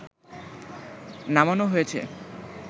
নামানো হয়েছে